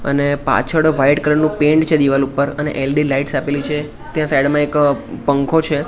અને પાછળ white colour નું પેન્ટ છે દિવાલ ઉપર અને એલ_ઇ_ડી લાઇટ્સ આપેલી છે ત્યાં સાઈડ માં એક પંખો છે.